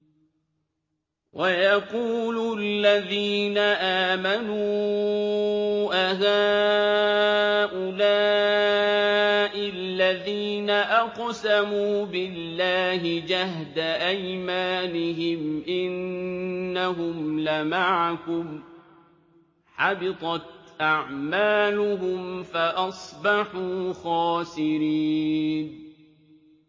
وَيَقُولُ الَّذِينَ آمَنُوا أَهَٰؤُلَاءِ الَّذِينَ أَقْسَمُوا بِاللَّهِ جَهْدَ أَيْمَانِهِمْ ۙ إِنَّهُمْ لَمَعَكُمْ ۚ حَبِطَتْ أَعْمَالُهُمْ فَأَصْبَحُوا خَاسِرِينَ